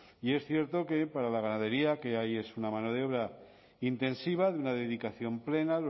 y es cierto que para la ganadería que hay es una mano de obra intensiva de una dedicación plena